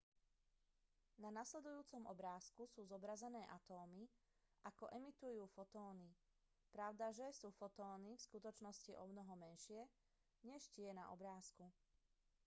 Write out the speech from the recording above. na nasledujúcom obrázku sú zobrazené atómy ako emitujú fotóny pravdaže sú fotóny v skutočnosti omnoho menšie než tie na obrázku